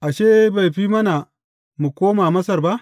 Ashe, bai fi mana mu koma Masar ba?